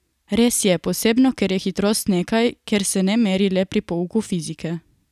Res je, posebno ker je hitrost nekaj, kar se ne meri le pri pouku fizike.